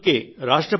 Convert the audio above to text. అందుకే